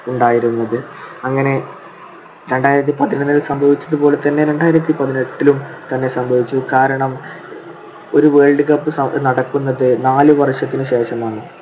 ഉണ്ടായിരുന്നത്. അങ്ങനെ രണ്ടായിരത്തി പതിനാലിന് സംഭവിച്ചതുപോലെ തന്നെ രണ്ടായിരത്തി പതിനെട്ടിലും സംഭവിച്ചു. കാരണം ഒരു world cup നടക്കുന്നത് നാലുവർഷത്തിനുശേഷമാണ്.